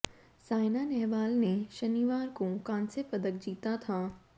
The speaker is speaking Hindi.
सायना नेहवाल ने शनिवार को कांस्य पदक जीता था